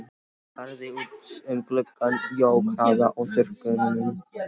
Hann starði út um gluggann, jók hraðann á þurrkunum.